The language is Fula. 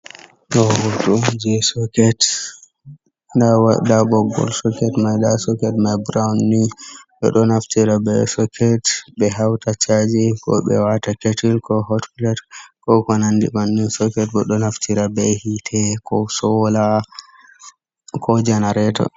Ɗo ɓoggiji on je soket nɗa ɓoggol soket mai, nɗa soket mai brown ni, ɓedo naftira be soket be hauta chaji, ko ɓe wata ketil ko, hotpilet, ko ko nandi bannin. Soket bo ɗo naftira ɓe hite ko sola ko janareto.